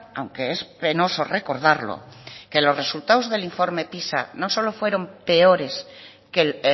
aunque es penoso recordarlo que los resultados del informe pisa no solo fueron peores que el